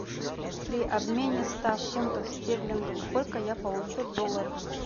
при обмене ста фунтов стерлингов сколько я получу долларов